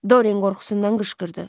Dorian qorxusundan qışqırdı.